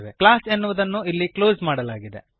class ಎನ್ನುವುದನ್ನು ಇಲ್ಲಿ close ಮಾಡಲಾಗಿದೆ